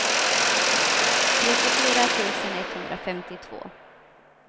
trettiofyra tusen etthundrafemtiotvå